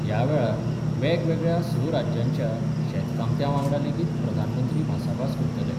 यावेळार वेगवेगळ्या स राज्यांच्या शेतकामत्यावांगडा लेगीत प्रधानमंत्री भासाभास करतले.